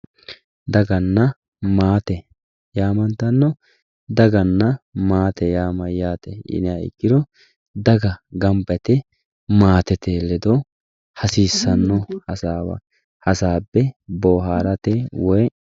Daganna maate yamantano, daganna maate yaa mayate yinniha ikkoro daga gamba yite maatete ledo hasiisano hasaawa hasaabe booharate woyi.